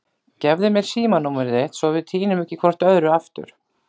Gefðu mér símanúmerið þitt svo við týnum ekki hvort öðru aftur.